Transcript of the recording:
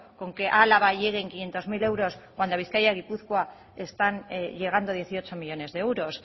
con que a álava lleguen quinientos mil euros cuando a bizkaia y a gipuzkoa están llegando dieciocho millónes de euros